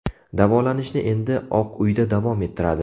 Davolanishni endi Oq uyda davom ettiradi.